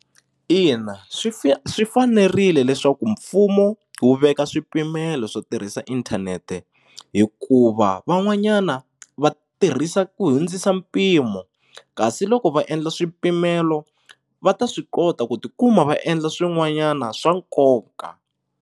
Ina swi swi fanerile leswaku mfumo wu veka swipimelo swo tirhisa inthanete hikuva van'wanyana va tirhisa ku hundzisa mpimo kasi loko va endla swipimelo va ta swi kota ku tikuma va endla swin'wanyana swa nkoka.